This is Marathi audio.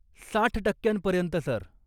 साठ टक्क्यांपर्यंत, सर.